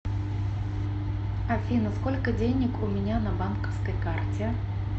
афина сколько денег у меня на банковской карте